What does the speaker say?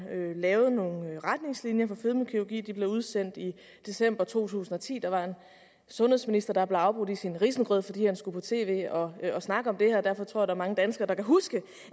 lavede nogle retningslinjer for fedmekirurgi de blev udsendt i december to tusind og ti der var en sundhedsminister der blev afbrudt i sin risengrød fordi han skulle på tv og snakke om det her derfor tror er mange danskere der kan huske